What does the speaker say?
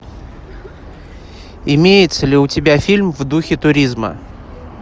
имеется ли у тебя фильм в духе туризма